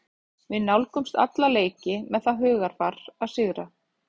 Við nálgumst alla leiki með það hugarfar að sigra.